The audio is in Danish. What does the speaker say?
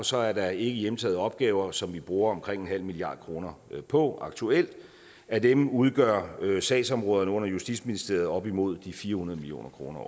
så er der ikkehjemtagede opgaver som vi bruger omkring nul milliard kroner på aktuelt af dem udgør sagsområderne under justitsministeriet op imod de fire hundrede million kroner